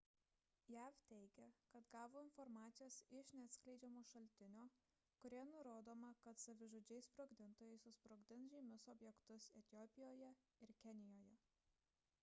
jav teigia kad gavo informacijos iš neatskleidžiamo šaltinio kurioje nurodoma kad savižudžiai sprogdintojai susprogdins žymius objektus etiopijoje ir kenijoje